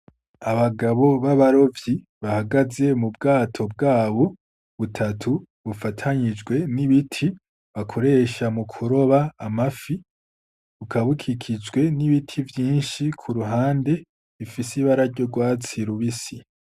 Abagabo b'abarovyi bahagaze mu bwato bwabo butatu bufatanijwe n'ibiti bakoresha mu kuroba amafi, bukaba bukikijwe n'ibiti vyinshi kuruhande bifise ibara ry'urwatsi rubisi.